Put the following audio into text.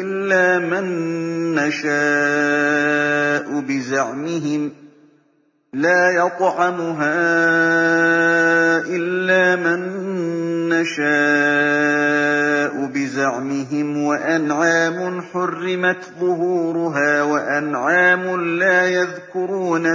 إِلَّا مَن نَّشَاءُ بِزَعْمِهِمْ وَأَنْعَامٌ حُرِّمَتْ ظُهُورُهَا وَأَنْعَامٌ لَّا يَذْكُرُونَ